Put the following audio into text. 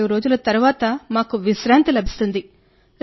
14 రోజుల తరువాత మాకు విశ్రాంతి లభిస్తుంది